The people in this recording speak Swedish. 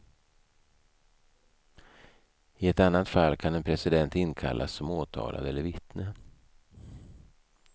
I ett annat fall kan en president inkallas som åtalad eller vittne.